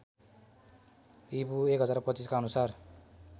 ईपू १०२५ का अनुसार